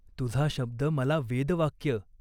तुझा शब्द मला वेदवाक्य.